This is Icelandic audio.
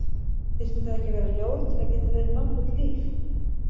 Þyrfti það ekki að vera ljóð til að geta verið nokkurt líf?